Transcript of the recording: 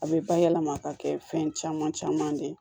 A bɛ bayɛlɛma ka kɛ fɛn caman caman ne ye